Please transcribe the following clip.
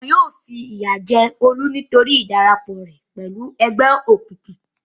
Wọn yóò fìyà jẹ Olú nítorí ìdarapọ̀ rẹ̀ pẹ̀lú ẹgbẹ́ òkùnkùn.